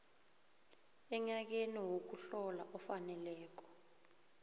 enyakeni wokuhlola ofaneleko